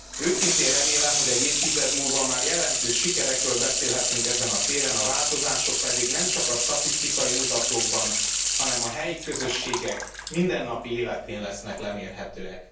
Őszintén remélem, hogy egy évtized múlva már jelentős sikerekről beszélhetünk ezen a téren, a változások pedig nem csak a statisztikai mutatókban, hanem a helyi közösségek mindennapi életén lesznek lemérhetőek.